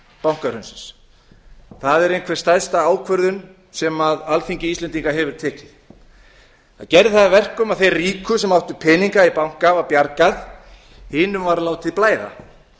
bankahrunsins það er einhver stærsta ákvörðun sem alþingi íslendinga hefur tekið það gerði það að verkum að þeim ríku sem áttu peninga í banka var bjargað hinum var látið blæða